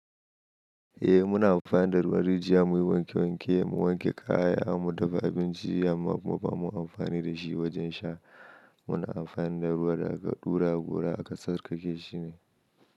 Eh muna amfani da ruwan, rijiya muyi wanke wanke, mu wanke kaya, har mu dafa abinci, amma kuma ba mu amfani da shi wajen sha. Muna amfani da ruwa da aka ɗura gora aka tsarka keshi shi.